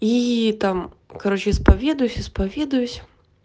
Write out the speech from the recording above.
и там короче исповедуюсь исповедуюсь